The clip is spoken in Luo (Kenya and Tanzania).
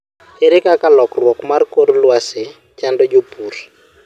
ere kaka lokruok mar kor lwasi chando jopur?